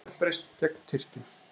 Uppreisn gegn Tyrkjum